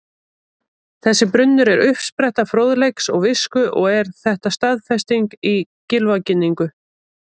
Þessi brunnur er uppspretta fróðleiks og visku og er þetta staðfest í Gylfaginningu: